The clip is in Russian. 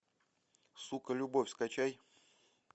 сука любовь скачай